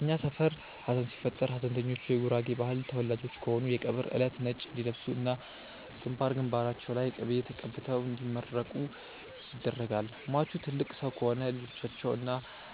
እኛ ሰፈር ሀዘን ሲፈጠር ሀዘንተኞቹ የጉራጌ ባህል ተወላጆች ከሆኑ የቀብር እለት ነጭ እንዲለብሱ እና ግንባር ግንባራቸው ላይ ቅቤ ተቀብተው እንዲመረቁ ይደረጋል። ሟቹ ትልቅ ሰው ከሆኑ ልጆቻቸው እና